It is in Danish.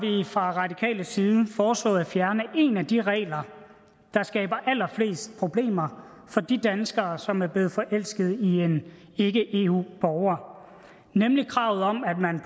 vi fra radikale venstres side foreslået at fjerne en af de regler der skaber allerflest problemer for de danskere som er blevet forelsket i en ikke eu borger nemlig kravet om at man